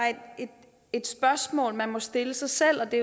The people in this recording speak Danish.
et spørgsmål man må stille sig selv og det